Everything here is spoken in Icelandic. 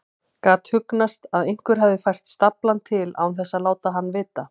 Gat hugsast að einhver hefði fært staflann til án þess að láta hann vita?